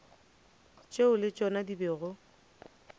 tšeo le tšona di bego